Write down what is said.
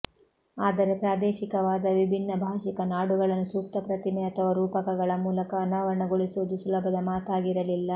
ಆದರೆ ಪ್ರಾದೇಶಿಕವಾದ ವಿಭಿನ್ನ ಭಾಷಿಕ ನಾಡುಗಳನ್ನು ಸೂಕ್ತ ಪ್ರತಿಮೆ ಅಥವಾ ರೂಪಕಗಳ ಮೂಲಕ ಅನಾವರಣಗೊಳಿಸುವುದು ಸುಲಭದ ಮಾತಾಗಿರಲಿಲ್ಲ